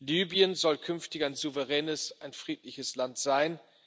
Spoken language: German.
Libyen soll künftig ein souveränes, ein friedliches Land sein.